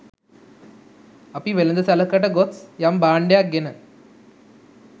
අපි වෙළඳසැලකට ගොස් යම් භාන්ඩයක් ගෙන